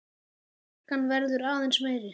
Harkan verður aðeins meiri.